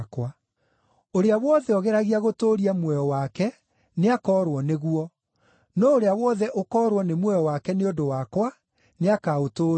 Ũrĩa wothe ũgeragia gũtũũria muoyo wake nĩakoorwo nĩguo; no ũrĩa wothe ũkoorwo nĩ muoyo wake nĩ ũndũ wakwa nĩakaũtũũria.